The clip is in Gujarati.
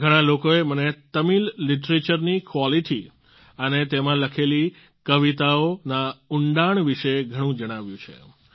ઘણાં લોકોએ મને તમિલ લિટરેચર ની ક્વોલિટી અને તેમાં લખેલી કવિતાઓના ઉંડાણ વિશે ઘણું જણાવ્યું છે